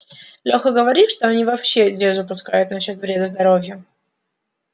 леха говорит что они вообще дезу пускают насчёт вреда здоровью